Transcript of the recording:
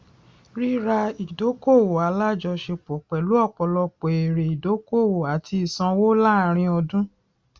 rírà ìdókòwò alájọṣepọ pẹlú ọpọlọpọ èrè idókòwò àti ìsanwó láàárín ọdún